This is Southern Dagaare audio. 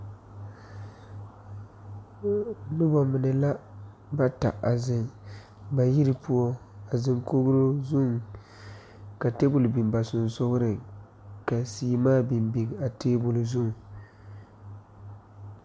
Noba mine la, bata a zeŋ ba yiri poɔ a zeŋ kogri zuŋ ka table biŋ ba sonsogre ka seɛmaa biŋ biŋ a table zuŋ.